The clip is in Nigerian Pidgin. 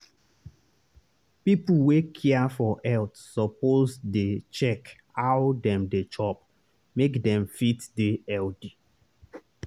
people wey care for health suppose dey check how dem dey chop make dem fit dey healthy.